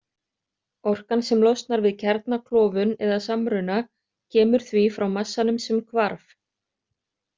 Orkan sem losnar við kjarnaklofnun eða -samruna kemur því frá massanum sem „hvarf“.